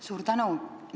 Suur tänu!